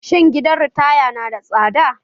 Shin gidan ritaya na da tsada?